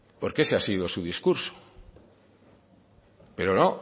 porque ese ha sido su discurso pero no